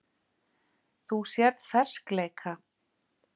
Þú sérð ferskleika.